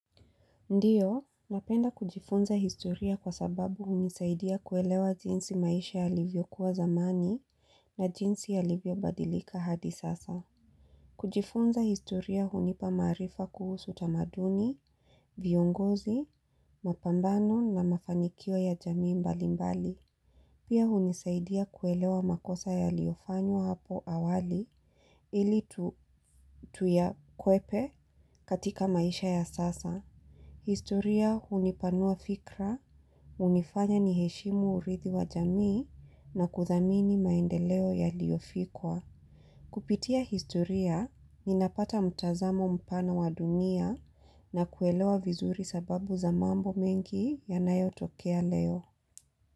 Ndiyo, napenda kujifunza historia kwa sababu hunisaidia kuelewa jinsi maisha yalivyokuwa zamani na jinsi yalivyobadilika hadi sasa. Kujifunza historia hunipa maarifa kuhusu tamaduni, viongozi, mapambano na mafanikio ya jamii mbalimbali. Pia hunisaidia kuelewa makosa yaliyofanywa hapo awali ili tuyakwepe katika maisha ya sasa. Historia hunipanua fikra, hunifanya niheshimu urithi wa jamii na kuthamini maendeleo yaliofikiwa. Kupitia historia, ninapata mtazamo mpana wa dunia na kuelewa vizuri sababu za mambo mengi yanayotokea leo.